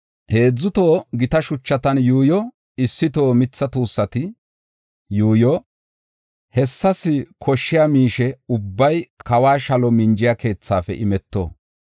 Heedzu toho gita shuchan yuushsho, issi toho mitha tuussati yuuyo. Hessas koshshiya miishe ubbay kawo shalo minjiya keethaafe imeto.